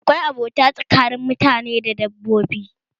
Akwai abota tsakanin mutane da dabbobi